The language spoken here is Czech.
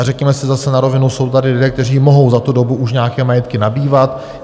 A řekněme si zase na rovinu, jsou tady lidé, kteří mohou za tu dobu už nějaké majetky nabývat.